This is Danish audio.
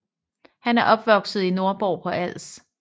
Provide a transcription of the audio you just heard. Han er opvokset i Nordborg på Als